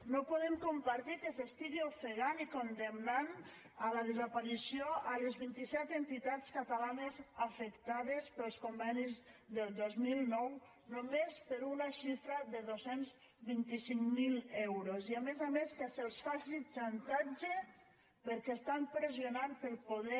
no podem compartir que s’estiguin ofegant i condemnant a la desaparició les vint i set entitats catalanes afectades pels convenis del dos mil nou només per una xifra de dos cents i vint cinc mil euros i a més a més que se’ls faci xantatge perquè estan pressionant per a poder